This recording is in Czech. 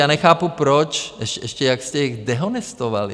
Já nechápu, proč - ještě jak jste je dehonestovali.